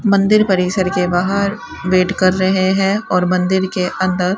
मंदिर परिषद के बाहर वेट कर रहे हैं और मंदिर के अंदर--